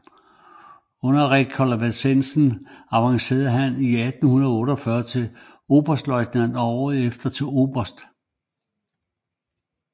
Under rekonvalescensen avancerede han 1848 til oberstløjtnant og året efter til oberst